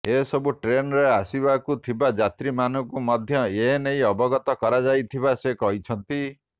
ଏସବୁ ଟ୍ରେନ୍ରେ ଆସିବାକୁ ଥିବା ଯାତ୍ରୀମାନଙ୍କୁ ମଧ୍ୟ ଏନେଇ ଅବଗତ କରାଯାଇଥିବା ସେ କହିଛନ୍ତି